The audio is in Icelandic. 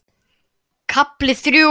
KAFLI ÞRJÚ